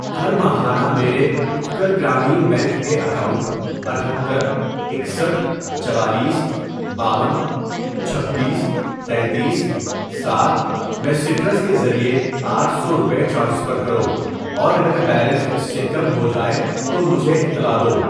ہر ماہانہ میرے اتکل گرامین بینک کے اکاؤنٹ اتھتر ، اکسٹھ ، چوالیس ، باون، چھبیس تینتیس، سات ، میں سٹرس کے ذریعے آٹھ سو روپے ٹرانسفر کرو اور اگر بیلنس اس سے کم ہو جائے تو مجھے اطلاع دو۔